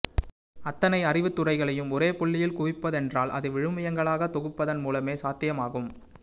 அத்தனை அறிவுத்துறைகளையும் ஒரே புள்ளியில் குவிப்பதென்றால் அது விழுமியங்களாக தொகுப்பதன் மூலமே சாத்தியமாகும்